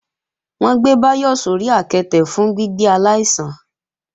Wọ́n ń gbé Báyọ̀ sórí àketè fún gbígbé aláìsàn